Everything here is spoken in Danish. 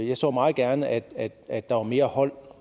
jeg så meget gerne at at der var mere hold